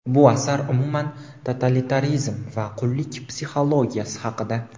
bu asar umuman totalitarizm va qullik psixologiyasi haqida.